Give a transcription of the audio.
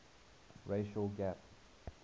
racial gap